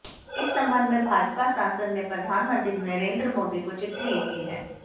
इस संबंध में भाजपा सांसद ने प्रधानमंत्री नरेंद्र मोदी को चिट्ठी लिखी है